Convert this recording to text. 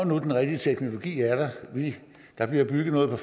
når den rigtige teknologi er der der bliver bygget noget